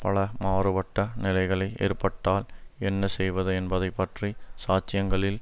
பல மாறுபட்ட நிலைகளை ஏற்பட்டால் என்ன செய்வது என்பதை பற்றி சாட்சியங்களில்